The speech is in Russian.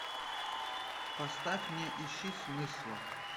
поставь не ищи смысла